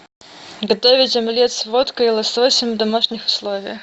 готовить омлет с водкой и лососем в домашних условиях